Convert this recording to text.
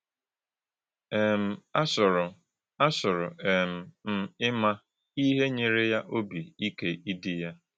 um Àchọ̄rò̄ Àchọ̄rò̄ um m̄ ímà̄ íhè̄ nyèrè̄ yá ọ́bì ìkè̄ ídí̄ yá.”